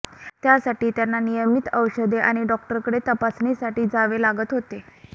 त्यासाठी त्यांना नियमित औषधे आणि डॉक्टरांकडे तपासणीसाठी जावे लागत होते